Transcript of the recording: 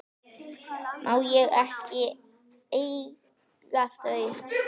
Má ég svo ekki eiga þau?